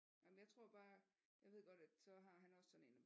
Jamen jeg tror bare jeg ved godt at så han har han også sådan en